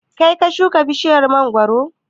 Kaii ka shuka bishiyar mangoro?